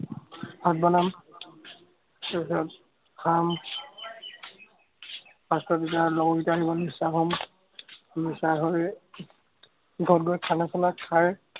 ভাত বনাম, খাম, ঘৰত গৈ খানা চানা খাই